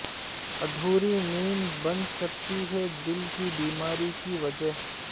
ادھوری نیند بن سکتی ہے دل کی بیماری کی وجہ